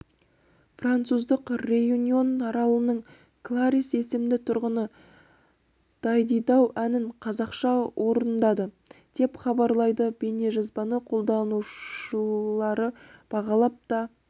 француздық реюньон аралының кларисс есімді тұрғыны дайдидау әнін қазақша орындады деп хабарлайды бейнежазбаны қолданушылары бағалап та